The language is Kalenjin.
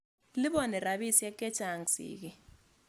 Liponi rapisyek che chang' sigik.